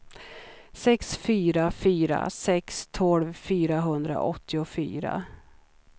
sex fyra fyra sex tolv fyrahundraåttiofyra